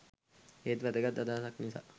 ඒත් වැදගත් අදහසක් නිසා